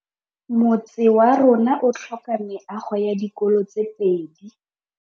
Motse warona o tlhoka meago ya dikolô tse pedi.